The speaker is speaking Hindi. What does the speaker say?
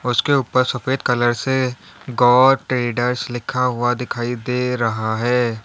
उसके ऊपर सफेद कलर से गौर ट्रेडर्स लिखा हुआ दिखाई दे रहा है।